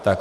Tak.